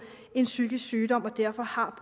en psykisk sygdom og derfor har